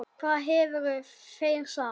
Hvað hefðu þeir sagt?